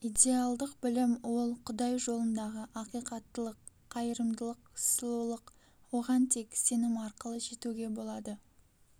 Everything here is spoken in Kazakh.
идеалдық білім ол құдай жолындағы ақиқаттылық қайырымдылық сұлулық оған тек сенім арқылы жетуге болады